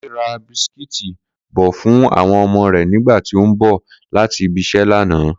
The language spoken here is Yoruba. Kúnlé ra bisikíìtì bò̩ fún àwo̩n o̩mo̩ rè̩ nígbà tí ó ń bò̩ láti ibi-is̩é̩ lánàá